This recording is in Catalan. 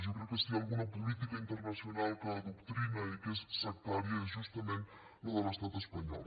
jo crec que si hi ha alguna política internacional que adoctrina i que és sectària és justament la de l’estat espanyol